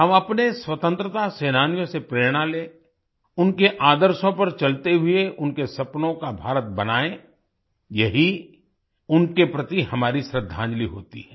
हम अपने स्वतंत्रता सेनानियों से प्रेरणा लें उनके आदर्शों पर चलते हुए उनके सपनों का भारत बनाएं यही उनके प्रति हमारी श्रद्धांजलि होती है